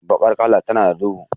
Bakar kala tana da duhu.